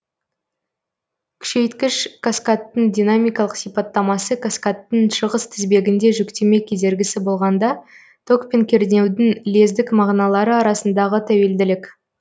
күшейткіш каскадтың динамикалық сипаттамасы каскадтың шығыс тізбегінде жүктеме кедергісі болғанда ток пен кернеудің лездік мағыналары арасындағы тәуелділік